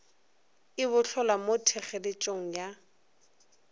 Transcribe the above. e bohlolwa mo thekgeletšong ya